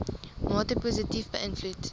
mate positief beïnvloed